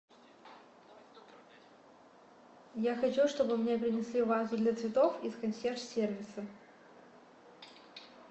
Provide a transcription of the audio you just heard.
я хочу чтобы мне принесли вазу для цветов из консьерж сервиса